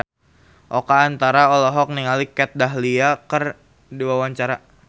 Oka Antara olohok ningali Kat Dahlia keur diwawancara